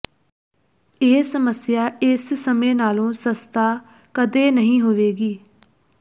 ਇਹ ਸਮੱਸਿਆ ਇਸ ਸਮੇਂ ਨਾਲੋਂ ਸਸਤਾ ਕਦੇ ਨਹੀਂ ਹੋਵੇਗੀ